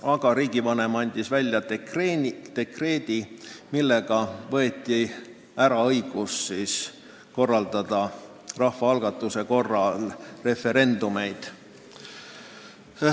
Aga riigivanem andis välja dekreedi, millega võeti ära õigus korraldada rahvaalgatuse korras referendumeid.